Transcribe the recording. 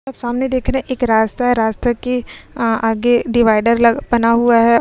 आप सामने देख रहे हैं। एक रास्ता है। रास्ते के अ आगे डिवाइडर लग बना हुआ है।